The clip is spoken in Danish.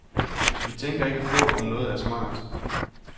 Vi tænker ikke på, om noget er smart.